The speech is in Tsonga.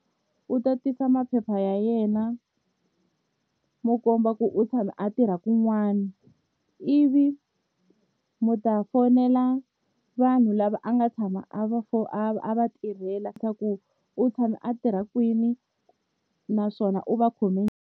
U tatisa maphepha ya yena mo komba ku u tshama a tirha kun'wana ivi mi ta fonela vanhu lava a nga tshama a va a va tirhela swa ku u tshame a tirha kwini naswona u va khome.